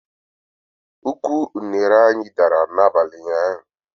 Ụkwụ unere anyị dara n'abalị ụnyaahụ